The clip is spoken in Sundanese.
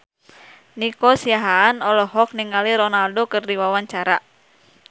Nico Siahaan olohok ningali Ronaldo keur diwawancara